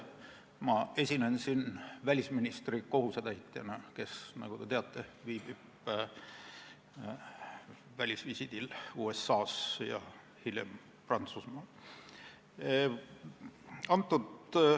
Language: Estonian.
Ma esinen siin välisministri kohusetäitjana, kes, nagu te teate, viibib välisvisiidil kõigepealt USA-s ja hiljem Prantsusmaal.